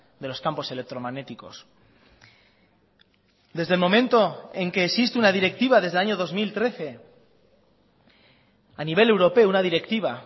de los campos electromagnéticos desde el momento en que existe una directiva desde el año dos mil trece a nivel europeo una directiva